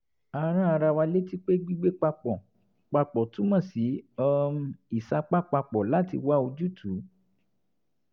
a rán ara wa létí pé gbígbé papọ̀ papọ̀ túmọ̀ sí um ìsapá papọ̀ láti wá ojútùú